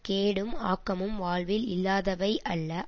கேடும் ஆக்கமும் வாழ்வில் இல்லாதவை அல்ல